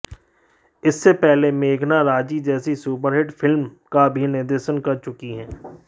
इससे पहले मेघना राजी जैसी सुपरहिट फिल्म का भी निर्देशन कर चुकी हैं